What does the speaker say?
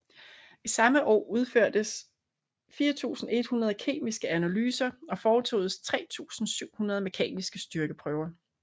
I samme år udførtes 4100 kemiske analyser og foretoges 3700 mekaniske styrkeprøver